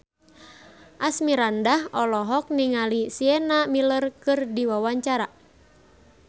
Asmirandah olohok ningali Sienna Miller keur diwawancara